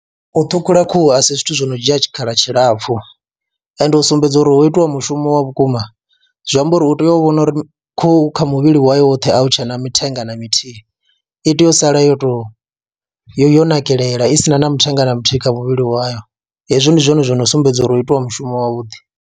U ṱhukhula khuhu a si zwithu zwo no dzhia tshikhala tshilapfhu ende u sumbedza uri ho itiwa mushumo wa vhukuma zwi amba uri u tea u vhona uri khuhu kha muvhili wayo woṱhe a hu tshe na mithenga na mithihi, i tea u sala yo tou yo nakelela i si na na mithenga na muthihi kha muvhili wayo, hezwo ndi zwone zwo no sumbedza uri ho itiwa mushumo wavhuḓi.